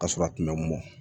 Ka sɔrɔ a kun mɛ mɔ